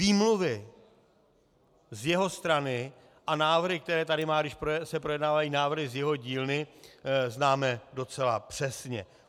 Výmluvy z jeho strany a návrhy, které tady má, když se projednávají návrhy z jeho dílny, známe docela přesně.